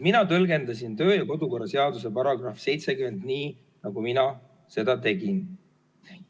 Mina tõlgendasin kodu- ja töökorra seaduse § 70 nii, nagu mina seda tegin.